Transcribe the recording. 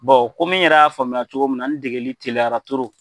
Bon komi n yɛrɛ y'a faamuya cogo min na, n degeli tliyara